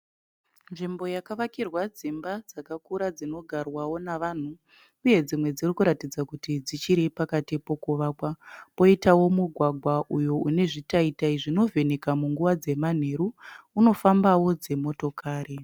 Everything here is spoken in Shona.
Nzvimbo yakavakirwa dzimba dzakakura dzinogarwawo navanhu. Uye dzimwe dzirikuratidza kuti dzichiri pakati pokuvakwa. Poitawo mugwagwa uyo une zvitaitai zvinovheneka munguva dzemanheru, unofambawo dzimotokari.